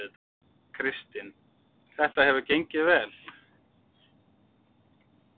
Kristinn: Þetta hefur gengið vel?